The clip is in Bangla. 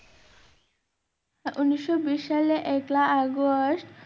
উনিশশো বিশ সালে একলা আগস্ট